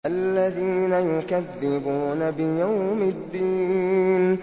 الَّذِينَ يُكَذِّبُونَ بِيَوْمِ الدِّينِ